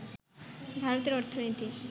ভারতের অর্থনীতি